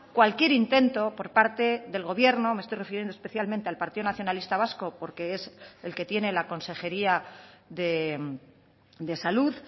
cualquier intento por parte del gobierno me estoy refiriendo especialmente al partido nacionalista vasco porque es el que tiene la consejería de salud